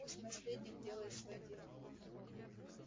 пусть наследник делает своё дело